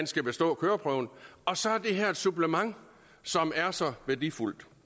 skal bestå køreprøven og så er det her et supplement som er så værdifuldt